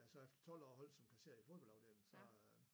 Da jeg så efter 12 år holdt som kasserer i fodboldafdelingen så øh